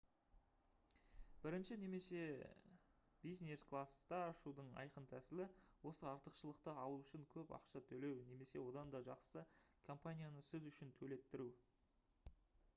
бірінші немесе бизнес класста ұшудың айқын тәсілі — осы артықшылықты алу үшін көп ақша төлеу немесе одан да жақсысы — компанияны сіз үшін төлеттіру